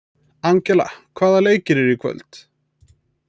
Angela, hvaða leikir eru í kvöld?